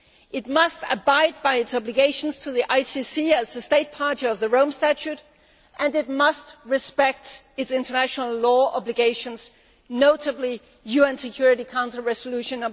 it must abide by its obligations to the ICC as a State Party to the Rome Statute and it must respect its international law obligations, notably UN Security Council Resolution